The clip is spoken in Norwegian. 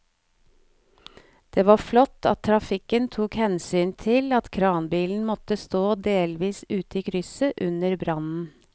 Det var flott at trafikken tok hensyn til at kranbilen måtte stå delvis ute i krysset under brannen.